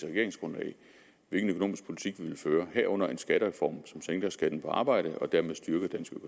regeringsgrundlag hvilken økonomisk politik vi vil føre herunder en skattereform som sænker skatten på arbejde og dermed styrker dansk